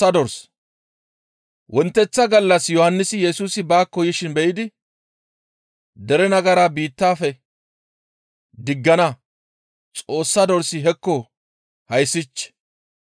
Wonteththa gallas Yohannisi Yesusi baakko yishin be7idi, «Dere nagara biittafe diggana Xoossa dorsi hekko hayssich!